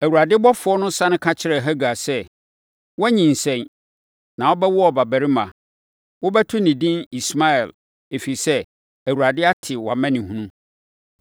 Awurade ɔbɔfoɔ no sane ka kyerɛɛ Hagar sɛ, “Woanyinsɛn, na wobɛwo ɔbabarima. Wobɛto no edin Ismael, ɛfiri sɛ, Awurade ate wʼamanehunu.